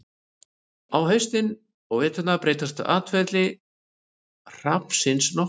á haustin og veturna breytist atferli hrafnsins nokkuð